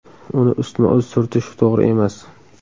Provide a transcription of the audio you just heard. Uni ustma-ust surtish to‘g‘ri emas.